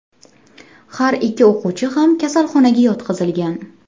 Har ikki o‘quvchi ham kasalxonaga yotqizilgan.